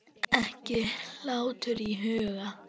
Ekki hlátur í huga.